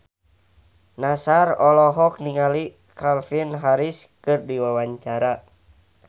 Nassar olohok ningali Calvin Harris keur diwawancara